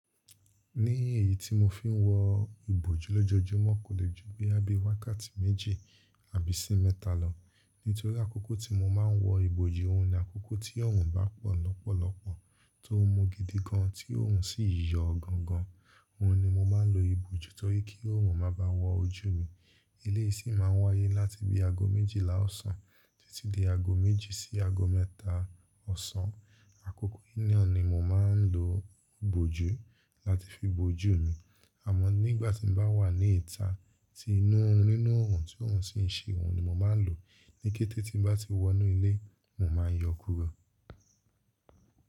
Ní èyí tí mo fi ń wọ ìbojú lójojúmọ́ kò le ju boya bi wákàtí méjì àbí sí mẹ́ta lọ. Nítorí àkókò tí mo máa ń wọ ìbojú, òun ni àkókò tí òòrùn bá pọ̀ lọ́pọ̀lọpọ̀ tó mú gidi gan tí òòrùn sì yọ gan gan. Òun ni mo máa ń lo ìbojú torí kí òòrùn má baà wọ ojú mi. eIeyi sì máa ń wáyé láti bí aago méjìlá ọ̀sán títí di aago méjì sí aago mẹ́ta ọ̀sán. Àkókò yìí naa ní mo máa ń lo ìbojú láti fi bojú mi. Àmọ́ nígbà tí mo bá wà ní ìta tí inú òòrùn nínú òòrùn tí òòrùn sì ń ṣe, òun ni mo máa ń lò. Ní kété tí n bá ti wọ inú ilé, mo máa yọ ó kúrò.